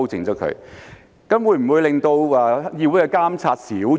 這樣會否令到議會的監察少了？